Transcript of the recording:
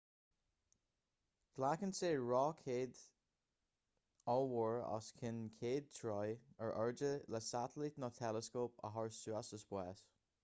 glacann sé roicéad ollmhór os cionn 100 troigh ar airde le satailít nó teileascóp a chur suas sa spás